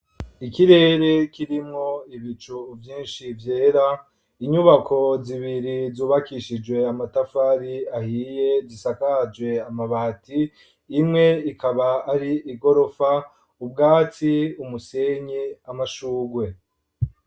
Ikirere kirimwo ibicu vyinshi vyera ,inyubako zibiri zubakishijwe amatafari ahiye zisakajwe amabati imwe ikaba ari igorofa ,ubwatsi ,umusenyi ,amashugwe.